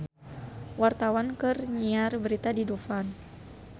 Wartawan keur nyiar berita di Dufan